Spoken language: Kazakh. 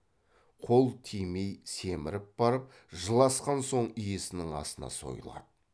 қол тимей семіріп барып жыл асқан соң иесінің асына сойылады